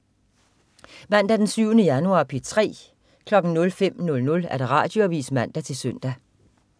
Mandag den 7. januar - P3: